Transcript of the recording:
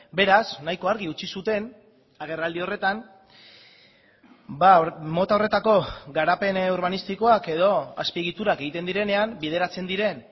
beraz nahiko argi utzi zuten agerraldi horretan mota horretako garapen urbanistikoak edo azpiegiturak egiten direnean bideratzen diren